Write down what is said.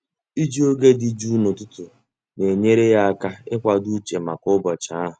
Iji oge dị jụụ n'ụtụtụ na-enyere ya aka ịkwado uche maka ụbọchị ahụ.